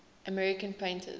american painters